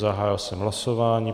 Zahájil jsem hlasování.